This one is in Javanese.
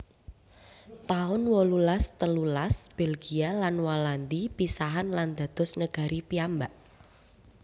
taun wolulas telulas Belgia lan Walandi pisahan lan dados negari piyambak